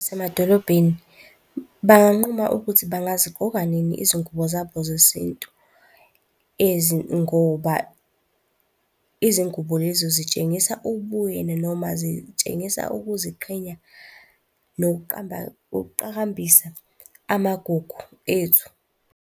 Zasemadolobheni, banquma ukuthi bengaziqgoka nini izingubo zabo zesintu ngoba izingubo lezo zitshengisa ubuyena, noma zitshengisa ukuziqhenya, nokuqamba, nokuqhakambisa amagugu ethu.